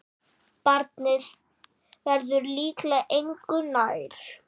Barnið verður líklega engu nær.